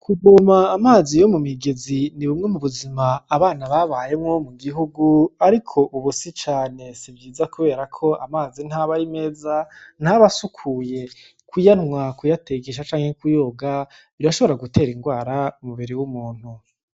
Kuboma amazi yo mu migezi ni bumwe mu buzima abana babayemwo mu gihugu, ariko ubusi cane sivyiza, kubera ko amazi ntaba ari meza ntabasukuye kuyantwa kuyategesha canke kuyoga birashobora gutera ingwara umuberi w'umuntu.